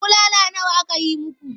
Bulala nawa aka yi muku?